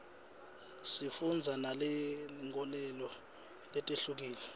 sifundza nangetinkholelo letihlukile